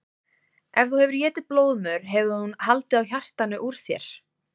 Ef þú hefðir étið blóðmör hefði hún haldið á hjartanu úr sér.